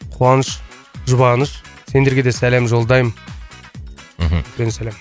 қуаныш жұбаныш сендерге де сәлем жолдаймын мхм